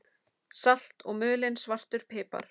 Salt og mulinn svartur pipar